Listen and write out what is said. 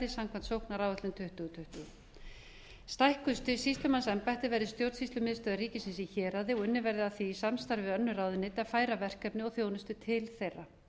samkvæmt sóknaráætlun tuttugu tuttugu stækkun sýsluembætta verði stjórnsýslumiðstöð ríkisins í héraði og unnið verði að því í samstarfi við önnur ráðuneyti að færa verkefni og þjónustu til þeirra